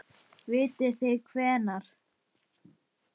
Vitið þið hvenær?